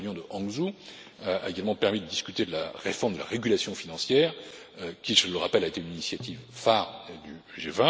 La réunion de Hangzhou a également permis de discuter de la réforme de la régulation financière, qui, je le rappelle, a été une initiative phare